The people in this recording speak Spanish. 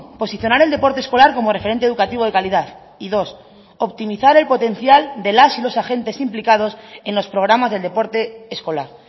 posicionar el deporte escolar como referente educativo de calidad y dos optimizar el potencial de las y los agentes implicados en los programas del deporte escolar